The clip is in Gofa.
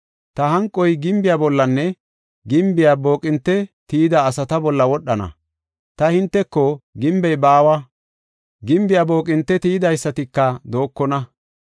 Ta hanqoy gimbiya bollanne gimbiya booqinte tiyida asata bolla wodhana. Ta hinteko, ‘Gimbey baawa; gimbiya booqinte tiyidaysatika dookona.